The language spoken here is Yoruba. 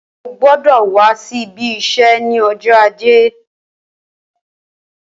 Ó gbọdọ wà si ibi iṣẹ ni ọjọ àjé